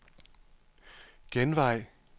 genvej